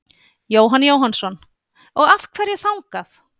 Jóhann Jóhannsson: Og af hverju þangað?